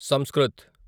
Sanskrit